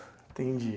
Entendi.